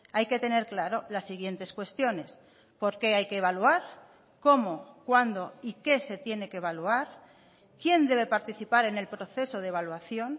hay que tener claro las siguientes cuestiones por qué hay que evaluar cómo cuándo y qué se tiene que evaluar quién debe participar en el proceso de evaluación